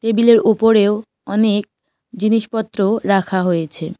টেবিলের উপরেও অনেক জিনিসপত্র রাখা হয়েছে।